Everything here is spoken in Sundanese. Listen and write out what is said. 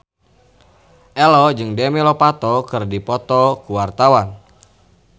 Ello jeung Demi Lovato keur dipoto ku wartawan